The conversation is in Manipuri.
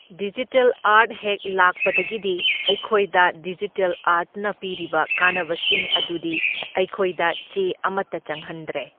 ꯗꯤꯖꯤꯇꯦꯜ ꯑꯥꯔꯠ ꯍꯦꯛ ꯂꯥꯛꯄꯗꯒꯤꯗꯤ ꯑꯩꯈꯣꯏꯗ ꯗꯤꯖꯤꯇꯦꯜ ꯑꯥꯔꯠꯅ ꯄꯤꯔꯤꯕ ꯀꯥꯟꯅꯕꯁꯤꯡ ꯑꯗꯨꯗꯤ ꯑꯩꯈꯣꯏꯗ ꯆꯦ ꯑꯃꯇ ꯆꯪꯍꯟꯗ꯭ꯔꯦ꯫